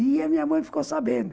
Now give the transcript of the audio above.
E a minha mãe ficou sabendo.